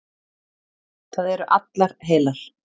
Það eru allar heilar.